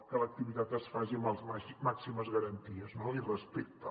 que l’activitat es faci amb les màximes garanties i respecte